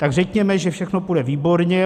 Tak řekněme, že všechno půjde výborně.